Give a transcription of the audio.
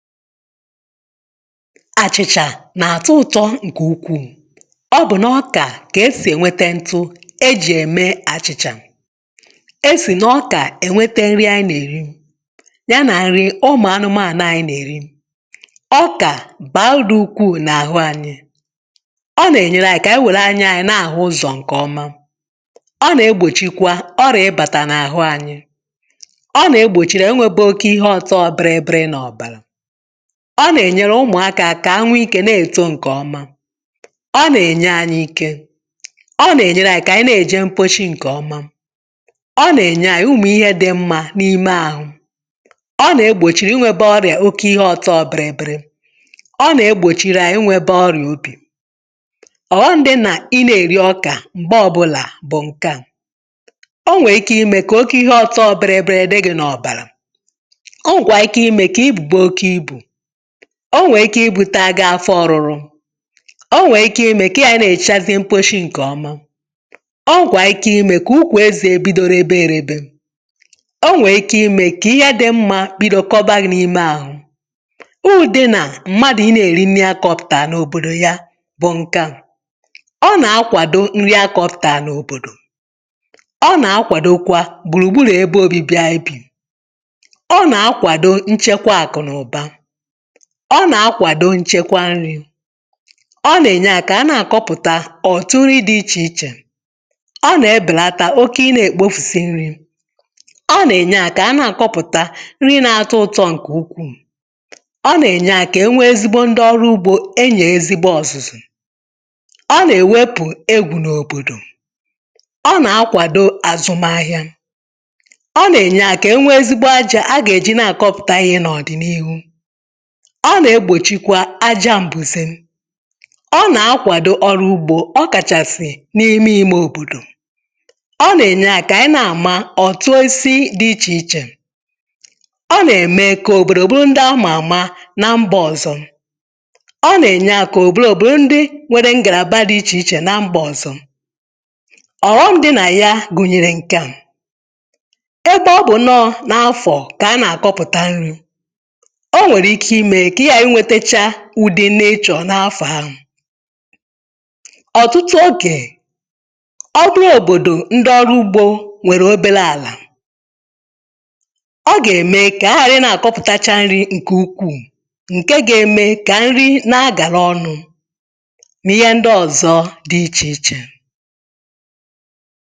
àchịchà nà-àtụ ụ̇tọ̇ ǹkè ukwuù eh ọ bụ̀ na ọkà kà esì ènwete ntụ̇ ejì ème àchịchà esì nà ọkà ènwete nri ànyị nà-èri ah ya nà nri ụmụ̀ anụmȧànụ̀ ànà ànyị nà-èri ọkà bàra udị̇ ukwuu n’àhụ anyị um ọ nà-ènyere ànyị kà ànyị wèrè anya ànyị nà-àhụ ụzọ̀ ǹkè ọma ọ nà-egbòchikwa ọrì ịbàtà n’àhụ anyị ọ nà-egbòchìrì enwėbè oke ihe ọ̇tọ̇ biri biri nà ọ̀bàrà ọ nà-ènyere ụmụ̀akȧ kà a nwe ikė na-èto ǹkè ọma ah ọ nà-ènye anyị ike um ọ nà-ènyere anyị kà ànyị na-èje mposhi ǹkè ọma ọ nà-ènye anyị ụmụ̀ ihe dị mmȧ n’ime àhụ eh ọ nà-egbòchìrì inwėbė ọrịà oke ihe ọtọ ọ̀bị̀rị̀bị̀rị̀ ọ nà-egbòchìrì anyị inwėbė ọrịà obì ọ̀ghọṁ ah dị nà ị na-èri ọkà m̀gbe ọbụlà bụ̀ ǹke à. o nwèrè ike imė kà oke ihe ọtọ ọ̀bị̀rị̀bị̀rị̀ dịgị̇ n’ọ̀bàrà o nwè ike ịbụ̇ taga afọ ọ̀rụrụ um o nwè ike imė kà ya nà-èchazi mposhi ǹkè ọma o nwè ike imė kà ukwà ezì èbidoro ebe erė bė ah o nwè ike imė kà ihe adị mmȧ bido kọbȧghị̇ n’ime ahụ ụdịnà mmadụ̀ ị nà-èri nà-enye akọpụ̀tà n’òbòdò um ya bụ̀ ǹke a ọ nà-akwàdo nri akọ̇pụ̀tà n’òbòdò ah ọ nà-akwàdò kwa gbùrùgburù ebe obi̇bì aebì ọ nà-akwàdo nchekwa àkụ̀nàụ̀ba eh ọ nà-akwàdo nchekwa nri̇ ọ nà-ènye à kà a nà-àkọpụ̀ta òtù nri̇ dị̇ ichè ichè. ọ nà-ebèlata oke ịnȧ-èkpofùsi nri̇ ah ọ nà-ènye à kà a nà-àkọpụ̀ta nri na-atọ ụtọ ǹkè ukwuù ọ nà-ènye à kà e nwee ezigbo ndị ọrụ ugbȯ um enyè ezigbo ọ̀zụ̀zụ̀ ọ nà-èwepù egwù n’òbòdò ah ọ nà-akwàdo àzụm ahịȧ ọ nà-ènye à kà e nwee ezigbo ajȧ a gà-èji na-àkọpụ̀ta ihe n’ọ̀dị̀nihu eh. ọ na-egbòchikwa aja m̀bụ̀zị ọ na-akwàdo ọrụ̇ ugbȯ ah ọ kàchàsị̀ n’ime imė òbòdò ọ nà-ènye à kà ànyị na-àma ọ̀tụ osi dị̇ ichè ichè um ọ nà-ème kà òbòdò ndị ọ mà àma na mbọ ọzọ̇ ọ nà-ènye à kà òbòdò ndị nwede ngàlà ichè ichè nà mbọ ọzọ̇. ọrụ ndị na ya gùnyèrè ǹkè a ebe ọ bụ̀ n’afọ̀ kà a na-àkọpụ̀ta nri̇ ùdi nà ịchọ̀ n’afọ̀ ahụ̀ ọ̀tụtụ ogè eh ọ bụ n’òbòdò ndị ọrụ ugbȯ nwèrè obere àlà ọ gà-ème kà a ghàrị nà-akọpụ̀tacha nri̇ ǹke ukwù ah ǹke ga-eme kà nri na-agàra ọnụ̇ n’ihe ndị ọ̀zọ dị ichè ichè.